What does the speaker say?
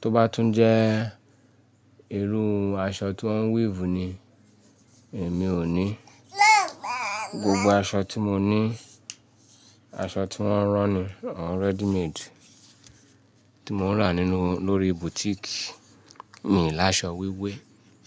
Tó bá tún jẹ́, irú aṣọ tí wọn weave ni, èmi ò ní. Gbogbo aṣọ tí mo ní, aṣọ tí wọn rán ni, àwọn ready made tí mo ń rà nínú lórí boutique. Mi láṣọ wíwé.